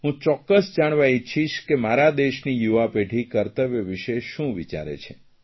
હું ચોક્કસ જાણવા ઇચ્છીશ કે મારા દેશની યુવાપેઢી કર્તવ્ય વિષે શું વિચારે છે